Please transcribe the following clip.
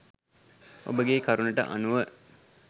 ඔබගේ කරුණට අනුව